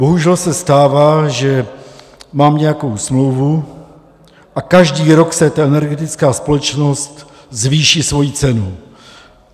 Bohužel se stává, že mám nějakou smlouvu, a každý rok si ta energetická společnost zvýší svoji cenu.